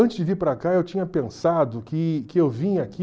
Antes de vir para cá, eu tinha pensado que que eu vinha aqui